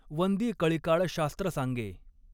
वंदी कळिकाळ शास्त्र सांगॆ.